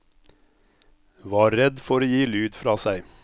Var redd for å gi lyd fra seg.